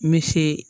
N bɛ se